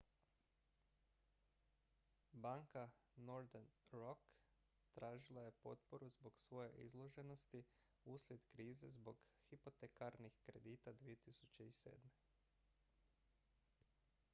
banka northern rock tražila je potporu zbog svoje izloženosti uslijed krize zbog hipotekarnih kredita 2007